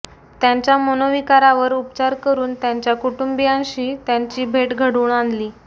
त्यांच्या मनोविकारावर उपचार करुन त्यांच्या कुटुंबियांशी त्यांची भेट घडवून आणली